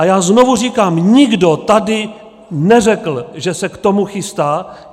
A já znovu říkám: Nikdo tady neřekl, že se k tomu chystá.